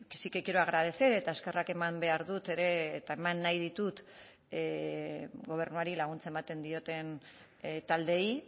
sí que quiero agradecer eta eskerrak eman behar dut ere eta eman nahi ditut gobernuari laguntza ematen dioten taldeei